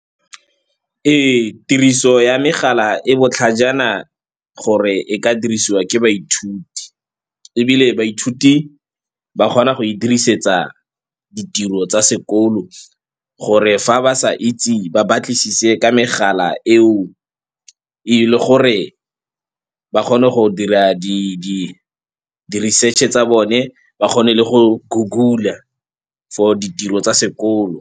Ee, tiriso ya megala e botlhajana gore e ka dirisiwa ke baithuti ebile baithuti ba kgona go e dirisetsa ditiro tsa sekolo, gore fa ba sa itse ba batlisise ka megala eo. Ee, le gore ba kgone go dira di-research-e tsa bone, ba kgone le go Goggle-a for ditiro tsa sekolo.